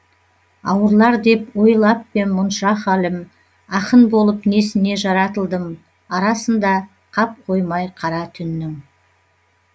ауырлар деп ойлап па ем мұнша халім ақын болып несіне жаратылдым арасында қап қоймай қара түннің